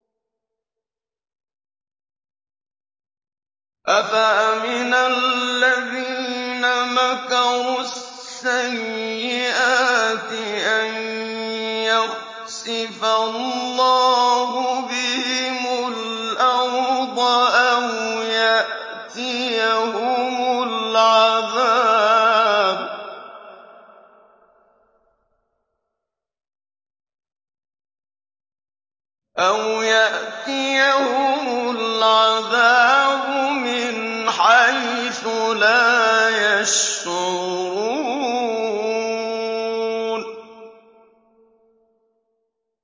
أَفَأَمِنَ الَّذِينَ مَكَرُوا السَّيِّئَاتِ أَن يَخْسِفَ اللَّهُ بِهِمُ الْأَرْضَ أَوْ يَأْتِيَهُمُ الْعَذَابُ مِنْ حَيْثُ لَا يَشْعُرُونَ